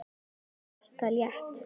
Það er allt það létta.